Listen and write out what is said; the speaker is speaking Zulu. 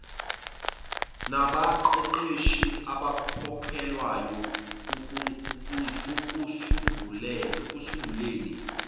nabaqeqeshi abakhokhelwayo ekusunguleni